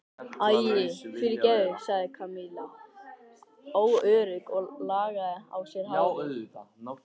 Æi, fyrirgefðu sagði Kamilla óörugg og lagaði á sér hárið.